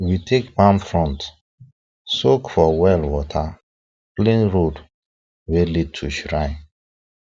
we take palm front soak for well water clean road wey lead to shrine